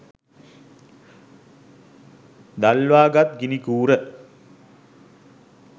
දල්වා ගත් ගිනි කූර